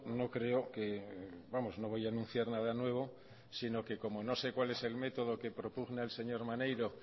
no creo que vamos no voy a anunciar nada nuevo sino que como no sé cuál es el método que propugna el señor maneiro